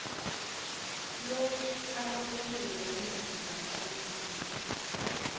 lukaloliwe umzila kaloliwe